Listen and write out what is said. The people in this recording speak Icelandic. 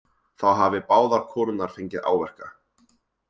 Þá hafi báðar konurnar fengið áverka